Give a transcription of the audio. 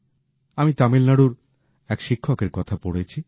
আমি তামিলনাড়ুর এক শিক্ষকের কথা পড়েছি